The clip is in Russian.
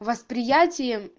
восприятием